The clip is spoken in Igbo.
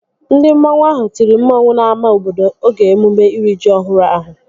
Ndị mmanwu ahụ tiri mmanwu n'ámá obodo oge emume iri ji ọhụrụ ahụ